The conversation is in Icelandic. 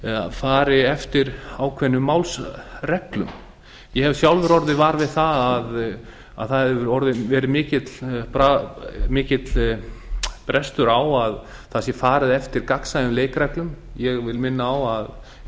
fari eftir ákveðnum málsreglum ég hef sjálfur orðið var við að það hefur orðið mikill brestur á að það sé farið eftir gagnsæjum leikreglum ég vil